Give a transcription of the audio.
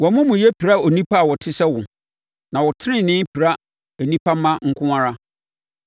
Wʼamumuyɛ pira onipa a ɔte sɛ wo na wo tenenee pira nnipa mma nko ara.